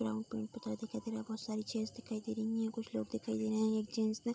Brown paint पुता दिखाई दे रहा है। बोहोत सारी चेयर्स दिखाई दे रही हैं। कुछ लोग दिखाई दे रहे हैं। एक जेंट्स ने --